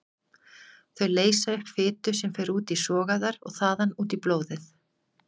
Þau leysa upp fitu sem fer út í sogæðar og þaðan út í blóðið.